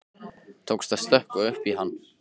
Tókst að stökkva upp í hann.